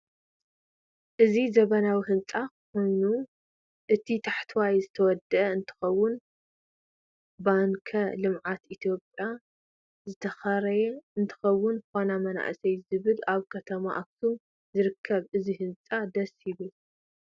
እዚ ዘመናዊ ህንፃ ኮይኖ እቲ ታሕተዋይ ዝተወደአ እንትከውን ባንከ ልምዓት ኢትዮጵያ ዝተከረየ እንትከውን ፋና መንአሰይ ዝብል አብ ከተማ አክሱም ዝረከብ እዚ ህንፃ ደሰ ይብል።